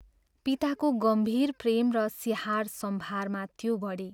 पिताको गम्भीर प्रेम र स्याहार सम्भारमा त्यो बढी।